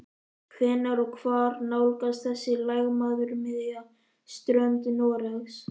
Hvenær og hvar nálgast þessi lægðarmiðja strönd Noregs?